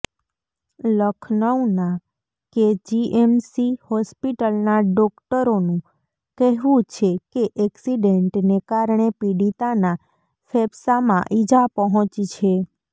લખનઉના KGMC હોસ્પિટલના ડોક્ટરોનું કહેવું છે કે એક્સિડેન્ટને કારણે પીડિતાના ફેફસામાં ઇજા પહોંચી છે